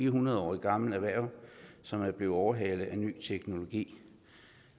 hundrede år gammelt erhverv som er blevet overhalet af ny teknologi